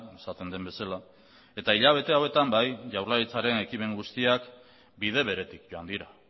esaten den bezala eta hilabete hauetan bai jaurlaritzaren ekimen guztiak bide beretik joan dira